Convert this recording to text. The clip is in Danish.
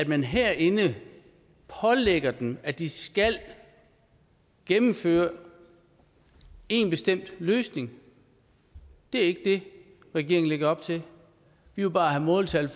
man herinde pålægger dem at de skal gennemføre en bestemt løsning det er ikke det regeringen lægger op til vi vil bare have måltal